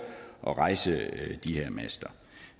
at rejse de her master